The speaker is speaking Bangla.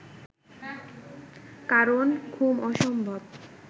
কারণ ঘুম অসম্ভব